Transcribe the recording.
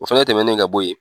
O fɛnɛ tɛmɛnen ka bɔ yen